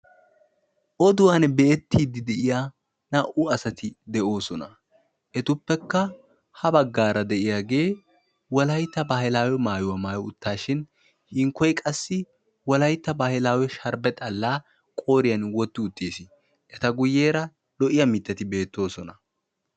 oduwan be'ettiya de'iyaa na"u asati de'ossona etuppekka ha baggara de'iyaage wolaytta baahilawe maayuwaa maayyi uttashin hinkkoy wolaytta baahilawe sharbbe xalaa qooriyaan wotti uttiis eta guyyeera lo'iyaa mittati bettosona.